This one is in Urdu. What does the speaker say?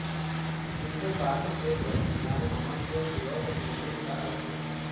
ہند پاک کے درمیان امن کو فروغ دینے کا عزم